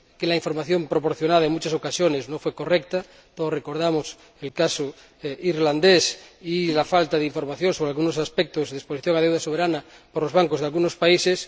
porque la información proporcionada, en muchas ocasiones, no fue correcta todos recordamos el caso irlandés y la falta de información sobre algunos aspectos de exposición a la deuda soberana por los bancos de algunos países